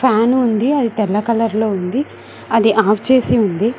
Fan ఉంది అది తెల్ల కలర్ లో ఉంది అది ఆఫ్ చేసి ఉంది.